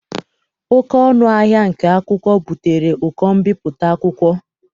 Oké ọnụ ahịa nke akwụkwọ butere ụkọ mbipụta akwụkwọ.